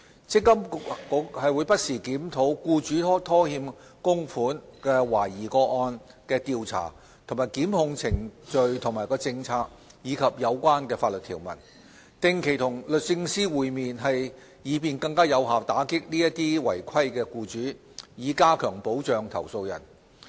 積金局會不時檢討僱主拖欠供款懷疑個案的調查及檢控政策和程序，以及有關法律條文，並定期與律政司會面，以便更有效打擊違規的僱主，以加強保障投訴人。